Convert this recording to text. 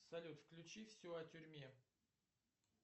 салют включи все о тюрьме